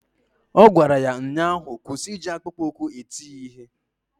Ọ gwara ya ụnyaahụ "Kwụsị iji akpụkpọụkwụ eti ya ihe"!